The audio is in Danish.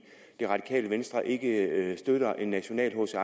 det radikale venstre ikke støtter en national hc